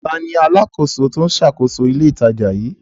Ta ni alákòóso tó ń ṣàkóso ilé-ìtajà yìí?